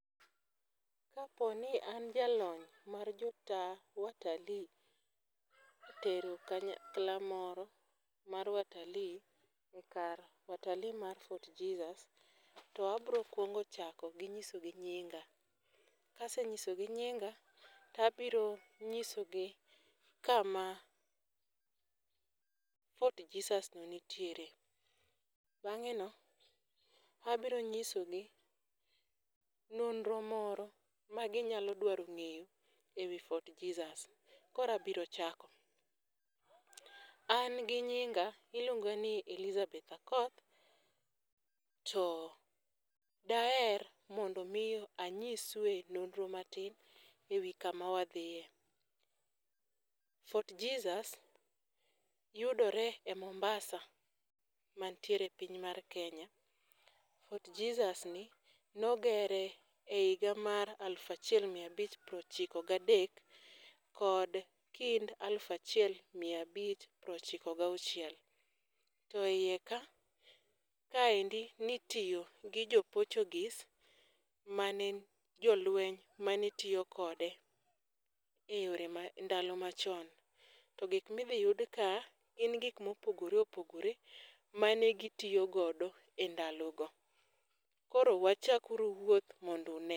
Kaponi an jalony mar jota watalii tero kanyakla moro mar watalii e kar watalii mar Fort Jesus to abrokuongo chako gi nyisogi nyinga. Kasenyisogi nyinga tabiro nyisogi kama Fort Jesus no nitiere. Bang'eno, abronyisogi nonro moro magionyalo dwaro ng'eyo e wi Fort Jesus koro abiro chako; An gi nyinga to iluonga ni Elizabeth Akoth to daher mondom omi anyisue nonro matin e wi kama wadhie. Fort Jesus yudore e Mombasa mantiere piny mar Kenya, Fort Jesus ni nogere e higa mar aluf achiel mia abich prochiko gadek kod kind aluf achiel mia abich prochiko gauchiel to iye ka kaendi nitiyo gi jo portugese mane en jolweny mane tiyo kode e ndalo machon to gik midhiyud ka gin gik mopogore opogore mane gitiyogodo e ndalogo, koro wachak uru wuoth mondo une.